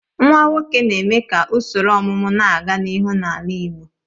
Nwa nwoke na-eme ka usoro ọmụmụ na-aga n'ihu n'ala igbo.